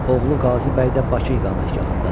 Oğlu Qazi bəy də Bakı iqamətgahındadır.